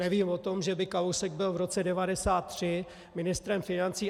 Nevím o tom, že by Kalousek byl v roce 1993 ministrem financí.